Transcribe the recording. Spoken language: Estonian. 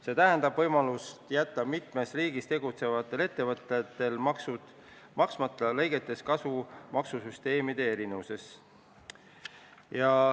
See tähendab võimalust jätta mitmes riigis tegutsevatel ettevõtetel maksud maksmata, lõigates kasu maksusüsteemide erinevustest.